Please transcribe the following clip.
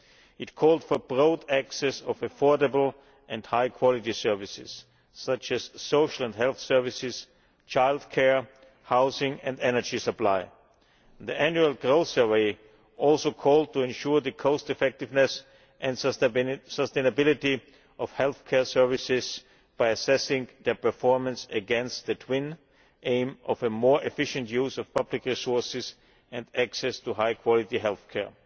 It called for broad access to affordable and high quality services, such as social and health services, child care, housing and energy supply. The annual growth survey also called for ensuring the cost effectiveness and sustainability of healthcare services by assessing their performance against the twin aim of a more efficient use of public resources and access to high quality health care.